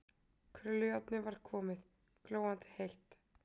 Krullujárnið var komið, glóandi heitt.